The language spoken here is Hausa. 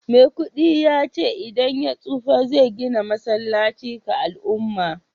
maikudi ya ce idan ya tsufa zai gina masallaci ga al'umma